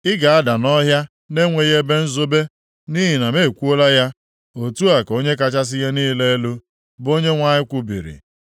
Ị ga-ada nʼọhịa na-enweghị ebe nzobe, nʼihi na m ekwuola ya. Otu a ka Onye kachasị ihe niile elu, bụ Onyenwe anyị kwubiri.